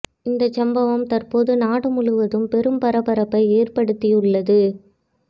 இந்த சம்பவம் தற்போது நாடு முழுவதும் பெரும் பரபரப்பை ஏற்படுத்தியுள்ளது